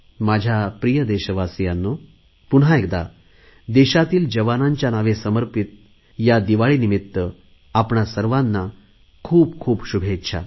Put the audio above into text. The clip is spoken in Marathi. माझ्या प्रिय देशवासियांनो पुन्हा एकदा देशातील जवानांच्या नावे समर्पित या दिवाळीनिमित्त आपणा सर्वांना खूपखूप शुभेच्छा